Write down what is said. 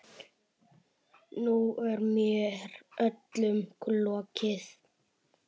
Nú er mér öllum lokið.